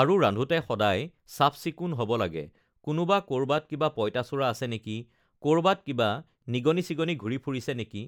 আৰু ৰন্ধোতে সদায় চাফ চিকুণ হ'ব লাগে কোনোবা ক'ৰবাত কিবা পঁইতাচোৰা আছে নেকি ক'ৰবাত কিবা নিগনি চিগনি ঘূৰি ফুৰিছে নেকি